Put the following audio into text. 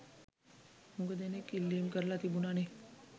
හුඟ දෙනෙක් ඉල්ලීම් කරලා තිබුණනේ